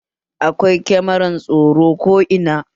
Akwai kamaran tsaro ko ina